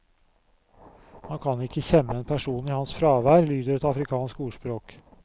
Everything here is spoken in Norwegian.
Man kan ikke kjemme en person i hans fravær, lyder et afrikansk ordspråk.